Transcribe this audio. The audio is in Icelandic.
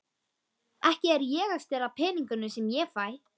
Ekki er ég að stela peningunum sem ég fæ.